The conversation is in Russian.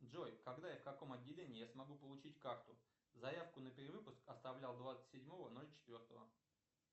джой когда и в каком отделении я смогу получить карту заявку на перевыпуск оставлял двадцать седьмого ноль четвертого